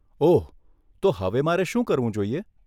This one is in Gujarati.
ઓહ, તો હવે મારે શું કરવું જોઈએ?